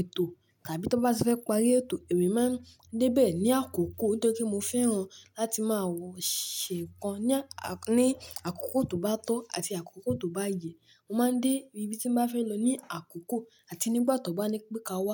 ètò tàbí tí wọ́n bá ti fẹ́ parí ètò, èmi máa ń dé bẹ̀ ní àkókò nítorí mo fẹ́ran láti máa wọ ṣé kan ní àkókò tó bá tọ́ àti àkókò tó bá yẹ, mo máa ń dé ibi tí mo bá fẹ́ lọ ní àkókò àti nígbà tó bá ní pé ka wa.